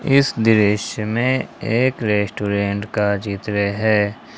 इस दृश्य में एक रेस्टोरेंट का चित्र है।